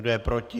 Kdo je proti?